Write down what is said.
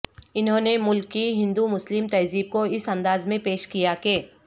انہوں نے ملک کی ہندو مسلم تہذہب کو اس انداز میں پیش کیا کہ